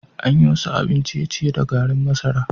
An yi wasu abin ciye-ciye da garin masara.